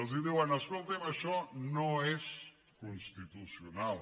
els diuen escoltin això no és constitucional